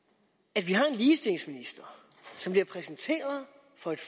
at vi har en ligestillingsminister som vi har præsenteret